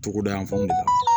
Togoda yan fanw de kan